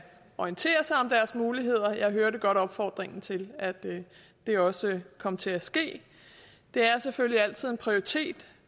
orientere sig om deres muligheder jeg hørte godt opfordringen til at det også kom til at ske det er selvfølgelig altid en prioritet